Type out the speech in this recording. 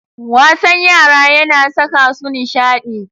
Wasan yara yana saka su nishadi.